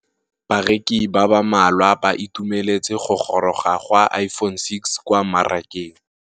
Bareki ba ba malwa ba ituemeletse go gôrôga ga Iphone6 kwa mmarakeng.